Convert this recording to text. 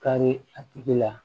Kari a tigi la